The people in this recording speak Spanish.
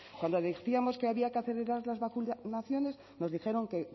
cuando decíamos que había que acelerar las vacunaciones nos dijeron que